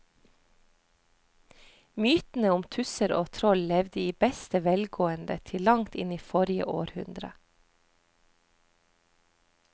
Mytene om tusser og troll levde i beste velgående til langt inn i forrige århundre.